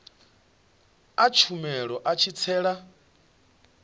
a tshumelo a tshi tsela